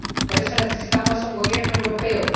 Por eso, necesitamos un Gobierno europeo.